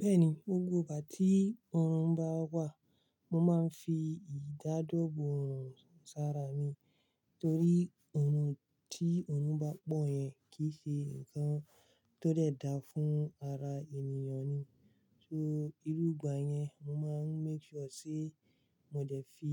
Bẹ́ẹ̀ni, gbogbo ìgbà tí òòrùn bá wà, mo máa ń fi ìdáàbòbò òòrùn sára mi, torí ohun tí òòrùn bá pò yẹn kì í ṣe nǹkan tó dẹ̀ da fún ara ènìyàn ni. So, iru ìgbà yẹn, mo máa ń make sure pẹ mo dẹ̀ fi